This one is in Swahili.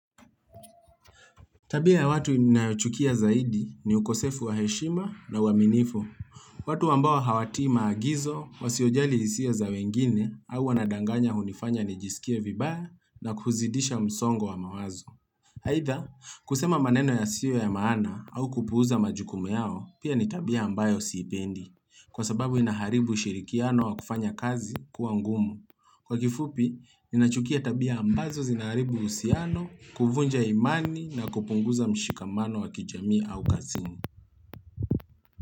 Tabia ya watu ninayochukia zaidi, ni ukosefu wa heshima na uaminifu. Watu ambao hawatii maagizo, wasiojali hisia za wengine, au wanadanganya ili kunifanya kijiskia vibaya na kuzidisha msongo wa mawazo. Aidha, kusema maneno yasiyo ya maana au kupuuza majukumu yao, pia ni tabia ambayo sipendi kwa sababu inaharibu ushirikiano wa kufanya kazi kuwa ngumu. Kwa ufupi, ninachukia tabia ambazo zinaribu uhusiano, kuvunja imani na kupunguza mshikamano wa kijamii au kasimu.